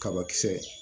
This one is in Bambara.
Kabakisɛ